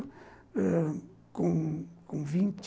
Ãh... Com vinte